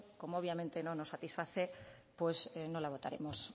como obviamente no nos satisface pues no la votaremos